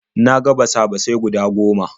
Na ga basa-basai guda goma.